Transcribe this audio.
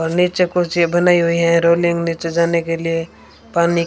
और नीचे कुर्सी बनाई हुई है रोलिंग नीचे जाने के लिए पानी--